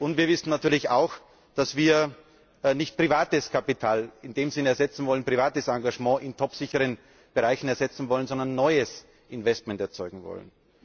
Und wir wissen natürlich auch, dass wir nicht privates Kapital, also privates Engagement, in topsicheren Bereichen ersetzen wollen, sondern neues Investment erzeugen wollen.